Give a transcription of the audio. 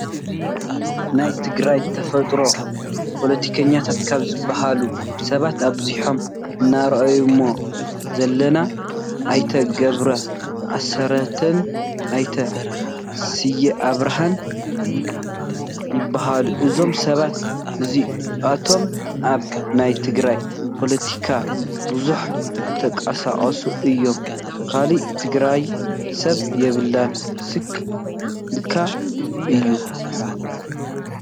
ናይ ትግራይ ተፈለጥቲ ፖሎቲከኛታት ካብ ዝበሃሉ ሰባት ኣብዚኦም እነሪኦም ዘለና ኣይተ ገብሩ ኣስራትን ኣይተ ስየ ኣብራሃን ይበሃሉ ። እዞም ሰባት እዚኣቶም ኣብ ናይ ትግራይ ፖሎቲካ ብዙሕ ዝተቃሳቀሱ እዮም። ከላእ! ትግራይ ሰብ የብላን ስክ ኢልካ እዩ።